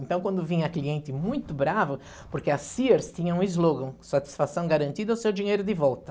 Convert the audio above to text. Então, quando vinha cliente muito bravo, porque a Sears tinha um slogan, satisfação garantida, ou seu dinheiro de volta.